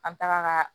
An bɛ taga ka